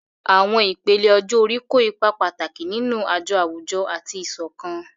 Àwọn ìpele ọjọ́ orí kó ipa pàtàkì nínú àjọ àwùjọ àti ìṣọ̀kan.